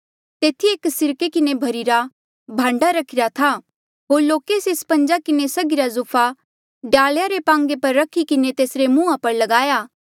तेथी एक सिरके किन्हें भर्ही रा भांडा रखिरा था होर लोके से स्पंजा किन्हें सघ्हिरा जूफा डाल्आ रे पांगे पर रखी किन्हें तेसरे मुंहा पर लगाया